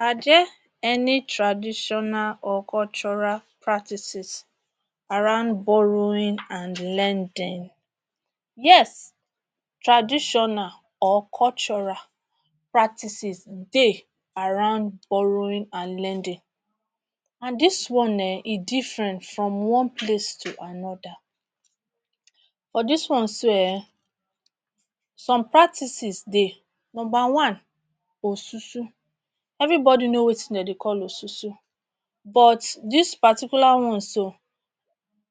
Are there any traditional or cultural practices around borrowing and lending? Yes, traditional or cultural practices dey around borrowing and lending and dis one e different from one place to anoda. For dis one so ehn, some practices dey. Number one, osusu. Evri body know wetin dem dey call osusu. But dis particular one so,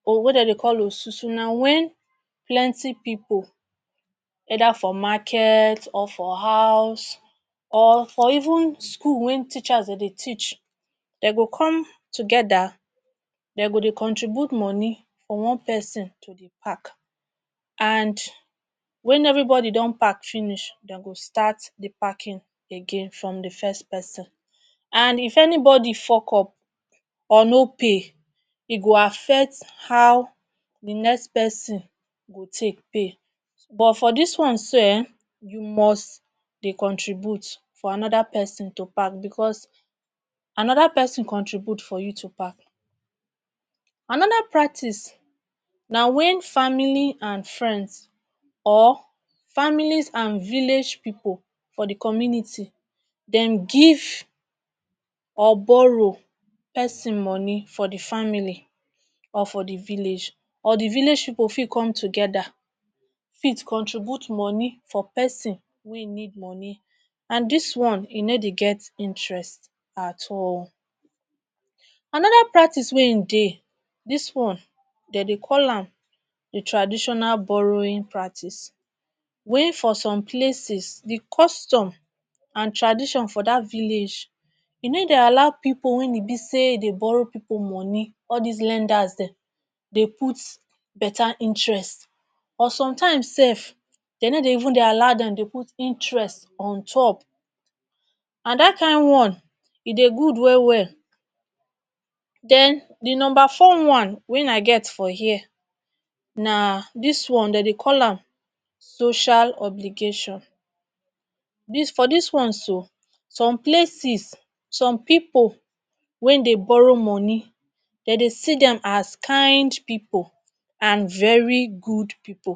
or wey dem dey call osusu, na wen plenty pipo either for market or for house or for even school wen teachers dey dey teach dem go come togeda dey go dey contribute money for one pesin to dey pack and wen evri body don pack finish dem go start di packing again from di first pesin and if anybody fuck up or no pay e go affect how di next pesin go take pay, but for dis one so ehn, you must dey contribute for anoda pesin to pack bicos, anoda pesin contribute for you to pack. Anoda practice na wen family and friends or family and village pipo for di community dem give or borrow pesin money for di family or for di village or di village pipo fit come togeda fit contribute money for pesin wey need money and dis one e no dey get interest at all. Anoda practice wey in dey dis one, dey dey call am Traditional Borrowing Practice wey for some places di custom and tradition for dat village e dey allow pipo wen e bi say dey borrow pipo money all dis lenders dem dey put betta interest or sometimes sef dey no dey even dey allow dem dey put interest on top and dat kain one, e dey good wel wel. Den di number four one wen I get for here na dis one dey dey call am Social Obligation. For dis one so, some places, some pipo wen dey borrow money dey dey see dem as kind pipo and very good pipo